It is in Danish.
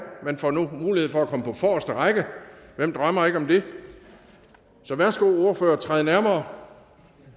man får nu mulighed for at komme på forreste række hvem drømmer ikke om det så værsgo ordførere træd nærmere